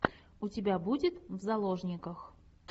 у тебя будет в заложниках